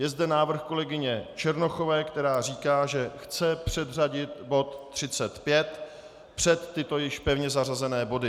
Je zde návrh kolegyně Černochové, která říká, že chce předřadit bod 35 před tyto již pevně zařazené body.